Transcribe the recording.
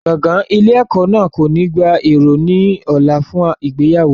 Gbọ̀ngàn ilé ẹ̀kọ́ náà kò ní gba èrò ní ọ̀la fún ìgbéyàwó náà.